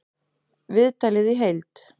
Viðtalið í heild